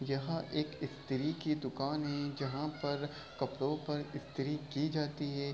यहाँ एक स्त्री की दुकान है जहां पर कपड़ों पर स्त्री की जाती है।